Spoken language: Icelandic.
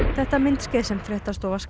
þetta myndskeið sem fréttastofa